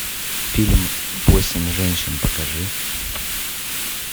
фильм восемь женщин покажи